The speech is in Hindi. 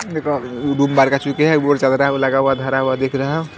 लगा हुआ धरा हुआ दिख रहा है।